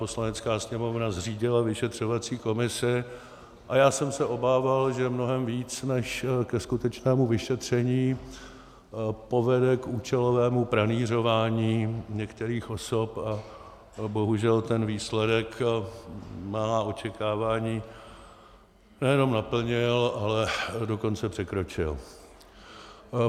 Poslanecká sněmovna zřídila vyšetřovací komisi a já jsem se obával, že mnohem více než ke skutečnému vyšetření povede k účelovému pranýřování některých osob, a bohužel ten výsledek má očekávání nejenom naplnil, ale dokonce překročil.